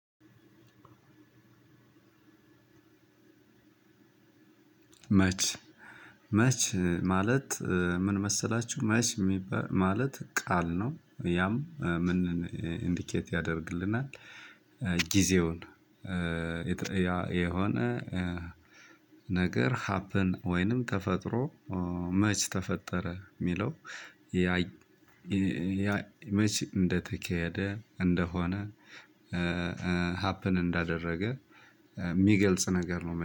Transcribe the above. መች መች ማለት ምን መሰላችሁ መች የሚባል ማለት ቃል ነው። ያም ምን ኢንዲኬት ያደርግልናል። ጊዜውን የሆነ ነገር ሀፕን ወይንም ተፈጥሮ መች ተፈጠረ የሚለው? መች እንደተካሄደ እንደሆነ ሀፕን እንዳደረገ የሚገልጽ ነገር ነው